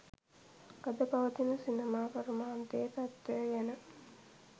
අද පවතින සිනමා කර්මාන්තයේ තත්ත්වය ගැන